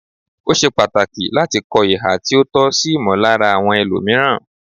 Ó ṣe pàtàkì láti kọ ihà tí ó tọ́ sí ìmọllára àwọn ẹlòmìíràn.